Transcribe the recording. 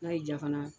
N'a y'i diya fana